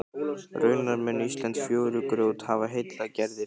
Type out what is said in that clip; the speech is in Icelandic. Raunar mun íslenskt fjörugrjót hafa heillað Gerði fyrr.